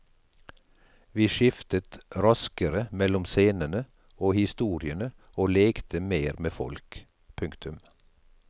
Vi skiftet raskere mellom scenene og historiene og lekte mer med folk. punktum